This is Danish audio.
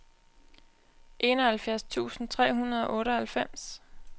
enoghalvfjerds tusind tre hundrede og otteoghalvfems